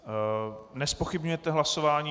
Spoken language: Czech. Nezpochybňujete hlasování.